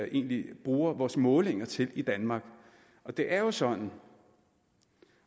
egentlig bruger vores målinger til i danmark det er jo sådan